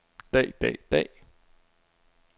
dag dag dag